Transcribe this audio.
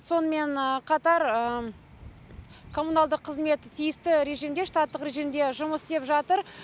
сонымен қатар коммуналдық қызмет тиісті режимде штаттық режимде жұмыс істеп жатыр